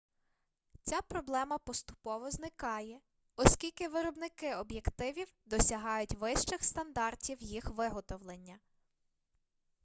ця проблема поступово зникає оскільки виробники об'єктивів досягають вищих стандартів їх виготовлення